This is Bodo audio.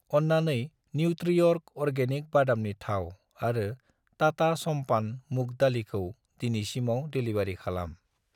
अन्नानै न्युत्रिअर्ग अर्गेनिक बादामनि थाव आरो टाटा समपान मुग दालिखौ दिनैसिमाव डेलिबारि खालाम।